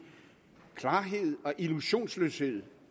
klarhed og illusionsløshed